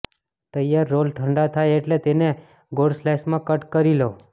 તૈયાર રોલ ઠંડા થાય એટલે તેને ગોળ સ્લાઇસમાં કટ કરી લો